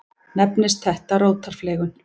Nefnist þetta rótarfleygun.